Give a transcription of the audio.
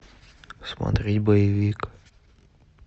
смотреть боевик